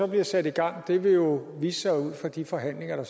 bliver sat i gang vil jo vise sig ud fra de forhandlinger